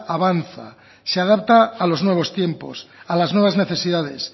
avanza se adapta a los nuevos tiempos a las nuevas necesidades